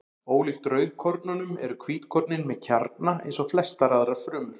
Ólíkt rauðkornunum eru hvítkornin með kjarna eins og flestar aðrar frumur.